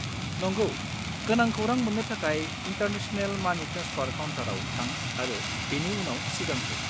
नंगौ, गोनां खौरां मोन्नो थाखाय इन्टारनेशनेल मानि ट्रेन्सफार काउन्टाराव थां आरो बेनि उनाव सिगांहो।